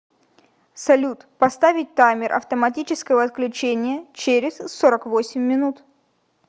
салют поставить таймер автоматического отключения через сорок восемь минут